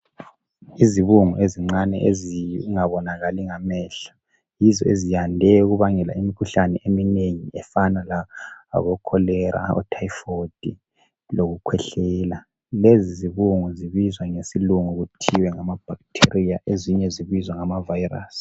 Izibungu ezincane ezingabonakali ngamehlo yizo eziyande ukubangela imikhuhlane eminengi efana labokholera ,othayifoyidi lokukhwehlela. Lezi zibungu zibizwa ngesilungu kuthiwa ngamabhakithiria ezinye zibizwa ngamavayirasi.